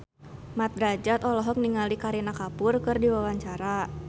Mat Drajat olohok ningali Kareena Kapoor keur diwawancara